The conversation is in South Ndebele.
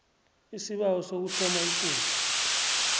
isibawo sokuhloma ikundla